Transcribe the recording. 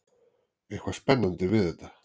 Eitthvað spennandi við þetta.